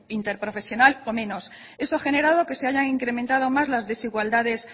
interprofesional o menos eso ha generado que se hayan incrementado más las desigualdades